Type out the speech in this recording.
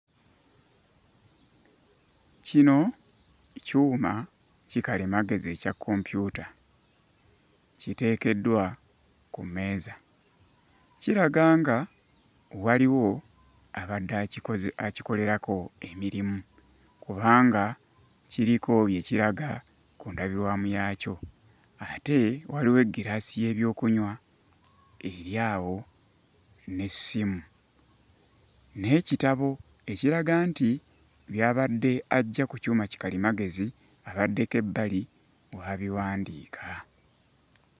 Kino kyuma kikalimagezi ekya kompyuta kiteekeddwa ku mmeeza. Kiraga nga waliwo abadde akikoze akikolerako emirimu kubanga kiriko bye kiraga ku ndabirwamu yaakyo. Ate waliwo eggiraasi y'ebyokunywa eri awo n'essimu, n'ekitabo ekiraga nti by'abadde aggya ku kyuma ki kalimagezi abaddeko ebbali w'abiwandiika.